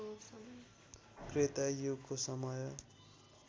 त्रेता युगको समय